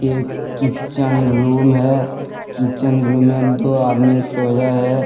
एक kitchen room है kitchen room में दो आदमी सोया है।